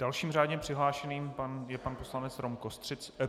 Dalším řádně přihlášeným je pan poslanec Rom Kostřica.